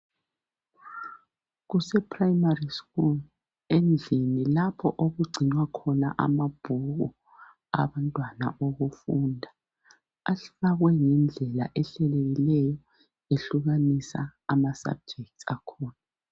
Kuseprayimari sikolo endlini lapho okugcinwa khona amabhuku abantwana okufunda afakwe ngendlela ehlelekileyo ehlukanisa ama sabhujekitsi akhona.